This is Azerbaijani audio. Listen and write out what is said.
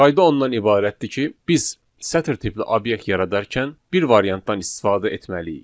Qayda ondan ibarətdir ki, biz sətr tipli obyekt yaradarkən bir variantdan istifadə etməliyik.